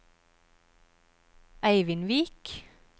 Eivindvik